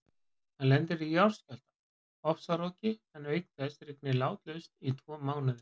Hann lendir í jarðskjálfta, ofsaroki en auk þess rignir látlaust í tvo mánuði.